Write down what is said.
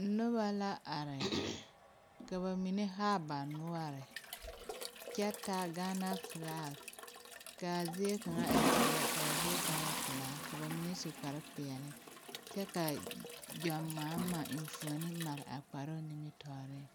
Nobɔ la are ka ba mine haa ba noɔre kyɛ taa gaana flak kaa zie kaŋa e zie laa zie kaŋa w pelaa ka ba mine su kparepeɛle kyɛ ka John mahama enfuone mare a kparoŋ nimitooreŋ.